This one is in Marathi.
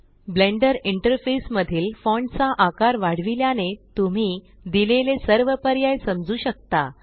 ब्लेण्डर इंटरफेस मधील फॉण्ट चा आकार वाढविल्याने तुम्ही दिलेले सर्व पर्याय समजू शकता